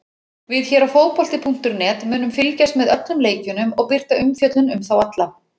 Við hér á fótbolti.net munum fylgjast með öllum leikjunum og birta umfjöllun um þá alla.